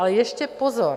Ale ještě pozor.